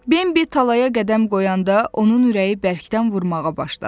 Bembi talaya qədəm qoyanda, onun ürəyi bərkdən vurmağa başladı.